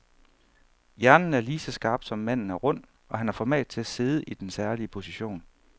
Hjernen er lige så skarp, som manden er rund, og han har format til at sidde i den særlige position.